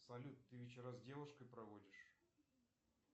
салют ты вечера с девушкой проводишь